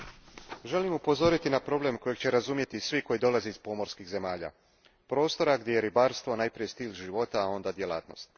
Gospodine predsjedniče, želim upozoriti na problem koji će razumjeti svi koji dolaze iz pomorskih zemalja, prostora gdje je ribarstvo najprije stil života, a onda djelatnost.